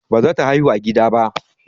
Baza ta haihu a gida ba.